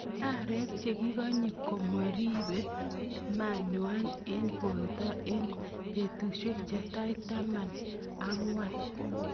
Arek chekokinye komoribe manywan en borto en betusiek chetai taman ang'wan.